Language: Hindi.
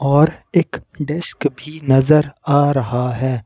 और एक डेस्क भी नजर आ रहा है।